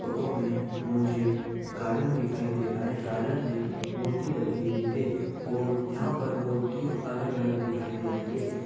Photo में मुझे garden दिखाई दे रहा है। गार्डन में मूर्ति रखी हुई हे और यहाँ पे मूर्ति अलग अलग दिखाई दे रही है।